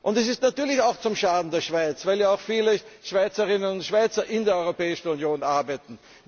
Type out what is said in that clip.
Es ist natürlich auch zum Schaden der Schweiz, weil ja auch viele Schweizerinnen und Schweizer in der Europäischen Union arbeiten.